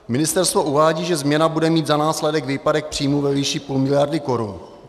Ministerstvo uvádí, že změna bude mít za následek výpadek příjmů ve výši půl miliardy korun.